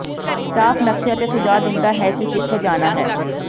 staff ਨਕਸ਼ੇ ਅਤੇ ਸੁਝਾਅ ਦਿੰਦਾ ਹੈ ਕਿ ਕਿੱਥੇ ਜਾਣਾ ਹੈ